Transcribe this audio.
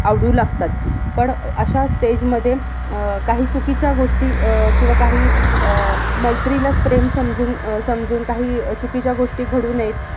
आवडू लागतात. पण अह अश्या stage मध्ये अह काही चुकीच्या गोष्टी अह किंवा अह काही अह मैत्रीलाच प्रेम समजून प्रेम समजून अह काही चुकीच्या गोष्टी घडू नयेत.